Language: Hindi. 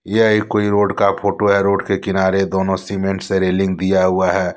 यह एक कोई रोड का फोटो है। रोड के किनारे दोनों सीमेंट से रेलिंग दिया हुआ है।